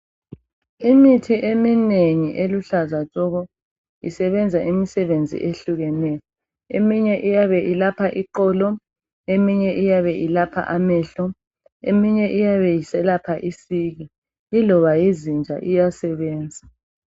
Imithi eminengi eluhlaza tshoko! Isebenza imisebenzi ehlukeneyo. Eminye iyabe ilapha iqolo. Eminye iyabe ilapha amehlo. Eminye iyabe iselapha isiki. lloba yizinja, iyasebenza,